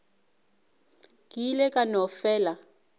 ke ile ka no fela